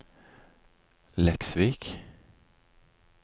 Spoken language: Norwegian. Leksvik